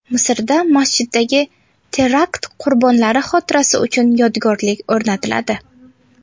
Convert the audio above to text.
Misrda masjiddagi terakt qurbonlari xotirasi uchun yodgorlik o‘rnatiladi.